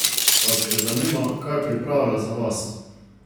Vas že zanima, kaj pripravlja za vas?